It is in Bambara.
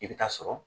I bɛ taa sɔrɔ